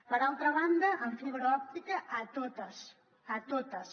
per altra banda amb fibra òptica a totes a totes